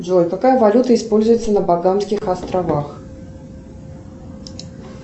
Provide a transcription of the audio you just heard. джой какая валюта используется на багамских островах